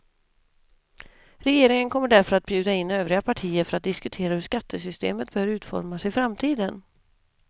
Regeringen kommer därför att bjuda in övriga partier för att diskutera hur skattesystemet bör utformas i framtiden.